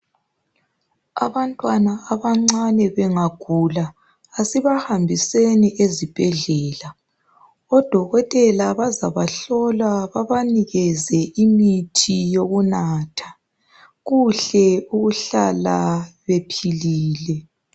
Abantwana abancane bengagula asibahambiseni ezibhedlela. Odokotela bazabahlola babanikeze imithi yokunatha, kuhle ukuhlala bephilile.